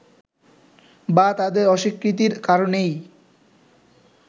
বা তাদের অস্বীকৃতির কারণেই